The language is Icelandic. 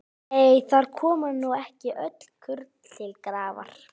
Nei, þar koma nú ekki öll kurl til grafar.